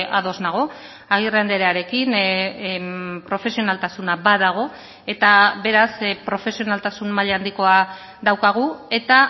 ados nago agirre andrearekin profesionaltasuna badago eta beraz profesionaltasun maila handikoa daukagu eta